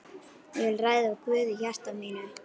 Ég vil ræða við Guð í hjarta mínu.